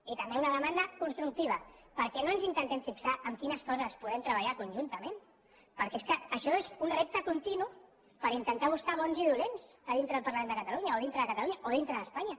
i també una demanda constructiva per què no ens intentem fixar en quines coses podem treballar conjuntament perquè és que això és un repte continu per intentar buscar bons i dolents a dintre del parlament de catalunya o a dintre de catalunya o a dintre d’espanya